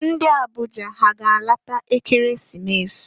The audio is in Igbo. Ndị Abuja ha a ga-alata Ekeresimesi?